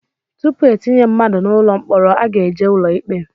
Tupu etinye mmadụ n'ụlọ mkpọrọ a ga-eje ụlọ ikpe